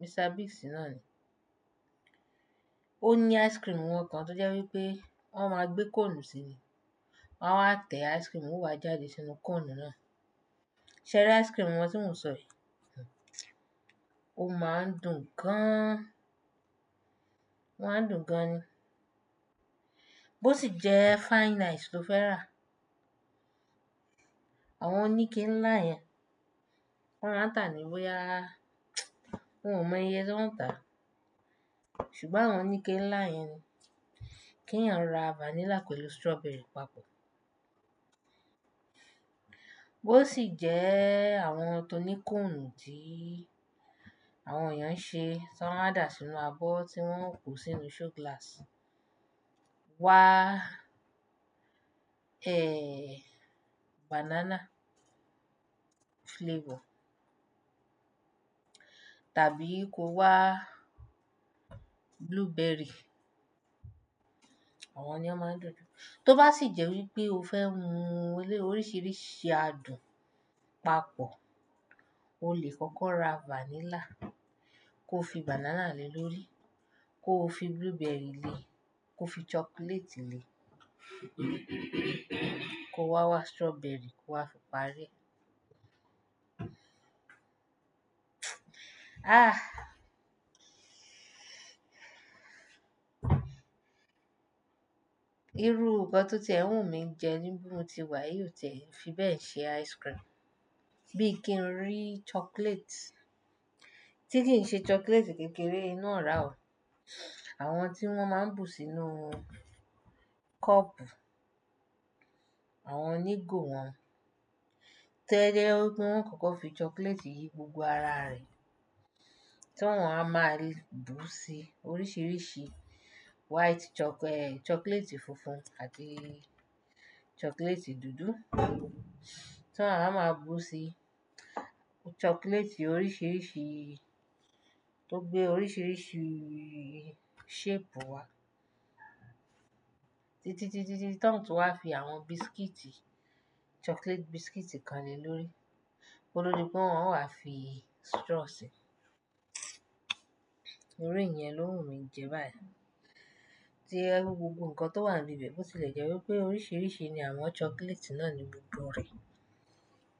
Mr Biggs náà ni. Ó ní ice cream won kan tó jẹ́ wípé wọ́n máa gbé cone sí ni. Wọ́n á tẹ ice cream o wa jáde sínú cone náà. Séri ice cream wọ́n tí mo n sọ yìí, ó máa ń dùn gan. Wọ́n á dùn gan ni. Bí ó sì jẹ́ fine ice tó fẹ́ rà, àwọn oníke ńlá yẹn, wọ́n á tà á ni boyaa, wọn ò mọ iye tí wọn ń tà. Ṣùgbọ́n àwọn oníke ńlá yẹn ni. Kí ẹ̀yàn ra vanilla pẹ̀lú strawberry papọ̀. Bo si je àwọn ti oni cone ti àwọn eyan nse, ti won a danu sínú abo ti won ko sínú show glass, won a ehnn banana flavour. Tàbí kó wá blueberry. Àwọn ni a máa ń dùn jù. Tó bá sì jẹ́ wípé o fẹ́ mu oríṣìíríṣìí adùn papọ̀, o lè kọ́kọ́ ra vanilla, kó fi banana le lórí, kó fi blueberry le, kó fi chocolate le kó wá wá strawberry kó wá fi parí e. Ah! Irú nkan to ti e n wu mi jẹ ní bi tí mo ti wà yìí o tie fi bẹ́ẹ̀ ṣe ice cream. Bíi kí n rí chocolate. Tí kì i n ṣe chocolate kékeré inú ora o. Àwọn tí wọ́n máa ń bù sínú cup, àwọn onígò wọn hun to je pe won ó kọ́kọ́ fi chocolate yìí gbogbo ara rẹ̀. Tí wọ́n á máa bù sí oríṣìíríṣìí white choc-- chocolate funfun àti chocolate dúdú. Tí wọ́n á máa bù sí chocolate oríṣìíríṣìí tó gbé oríṣìíríṣìí shape wá. Tí, tí, tí, tí, tí ton tun wá fi àwọn biscuit, chocolate biscuit kan le lórí. Ko to di pe wọ́n o wa fi straw sí. Iru iyẹn ló wù mí jẹ báyìí. Tí o je pe gbogbo nǹkan tó wà níbi bẹ́ẹ̀, bó ti lè jẹ́ wípé oríṣìíríṣìí ni a maa chocolate náà ní gbogbo rẹ̀.